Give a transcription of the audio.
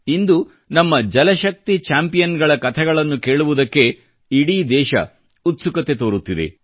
ಇಂದು ನಮ್ಮ ಜಲಶಕ್ತಿ ಚಾಂಪಿಯನ್ಗಳ ಕಥೆಗಳನ್ನು ಕೇಳುವುದಕ್ಕೆ ಇಡೀ ದೇಶ ಉತ್ಸುಕತೆ ತೋರುತ್ತಿದೆ